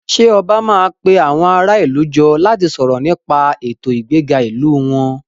Ṣé ọba máa pe àwọn ará ìlú jọ láti sọ̀rọ̀ nípa ètò ìgbéga ìlú wọn?